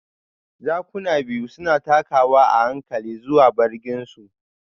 Jakuna biyu suna takawa a hankali zuwa bargin su.